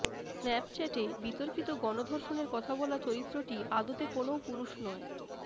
স্ন্যাপচ্যাটে বিতর্কিত গণধর্ষণের কথা বলা চরিত্রটি আদতে কোনও পুরুষ নয়